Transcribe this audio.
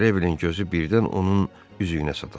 Detrevlin gözü birdən onun üzüyünə sataşdı.